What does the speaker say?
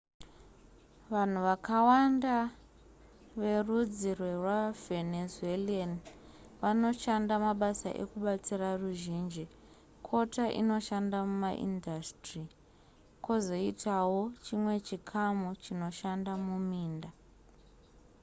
vanhu vakawanda verudzi rwevavenzuelan vanoshanda mabasa ekubatsira ruzhinji kota inoshanda mumaindasitiri kwozoitawo chimwe chikamu chinoshanda muminda